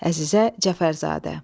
Əzizə Cəfərzadə.